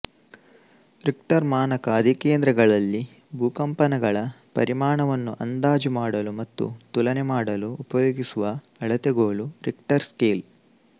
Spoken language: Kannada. ರಿಕ್ಟರ್ ಮಾನಕ ಅಧಿಕೇಂದ್ರಗಳಲ್ಲಿ ಭೂಕಂಪನಗಳ ಪರಿಮಾಣ ವನ್ನು ಅಂದಾಜು ಮಾಡಲು ಮತ್ತು ತುಲನೆ ಮಾಡಲು ಉಪಯೋಗಿಸುವ ಅಳತೆಗೋಲು ರಿಕ್ಟರ್ ಸ್ಕೇಲ್